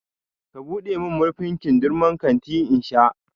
ka buɗe min murfin kindirmon kanti in sha!